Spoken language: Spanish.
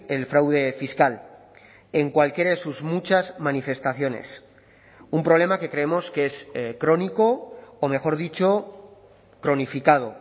el fraude fiscal en cualquiera de sus muchas manifestaciones un problema que creemos que es crónico o mejor dicho cronificado